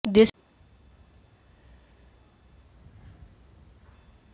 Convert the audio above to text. দেশের করোনা পরিস্থিতির নিরিখে আদৌ ওই পরীক্ষাগুলি নেওয়া সম্ভব কিনা সেই নিয়ে